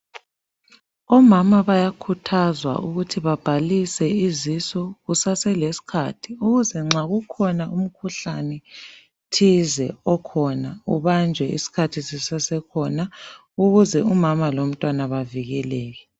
Omama bayakhuthazwa ukuthi babhalise izisu kusese leskhathi,. Ukuze nxa kukhona umkhuhlane thize okhona ubanjwe skhathi sisesekhona ukuze umama lo mtwana bavukeleke.